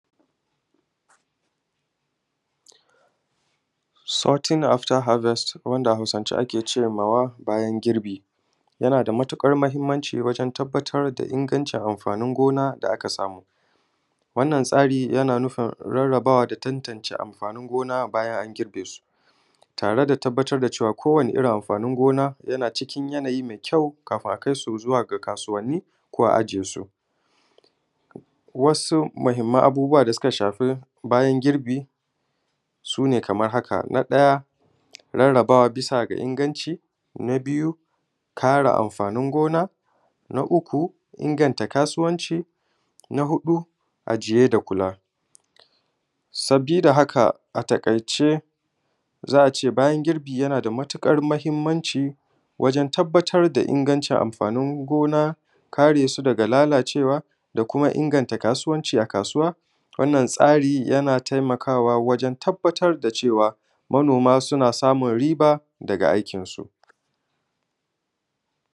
Sotin Aftar Habest, wanda a Hausance ake cema Bayan Girbi, yana da matuƙar mahimmanci domin tabbatar da ingantawan amfani gona da aka samu. Wannan tsari yana nufin rarabawa da tattancewa amfani gona bayan an girbe su, tare da tabbatar da cewa ko wanne irin amfani gona yana cikin yanayin mai kyau, kafin a kai su zuwa kasuwanni ko a ajiye su. Wasu muhimman abubbuwa da suka shafi bayan girbi su ne kamar haƙa: na ɗaya rarrabawa bisa ga inganti. Na biyu Kare amfani gona. Na uku inganta kasuwanci. Na huɗu ajiye da kula. Saboda haƙa, a taƙaice, za a ce Bayan Girbi yana da matuƙar mahimmanci wajen: Tabbatar da ingantawan amfani gona. Kare su daga lalacewa. Inganta kasuwanci a kasuwa. Wannan tsari yana tayammu wajen tabbatar da cewa manoma suna samu riba daga aikin su.